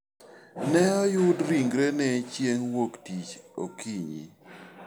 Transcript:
Ne oyud ringrene chieng' wuok tich okinyi.